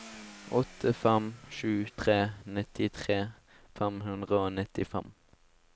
åtte fem sju tre nittitre fem hundre og nittifem